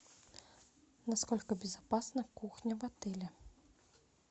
насколько безопасна кухня в отеле